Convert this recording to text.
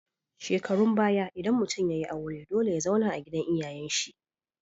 Shekarun baya idan mutun yayi aure dole ya zauna a gidan iyayan shi